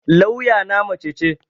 Lawya na mace ce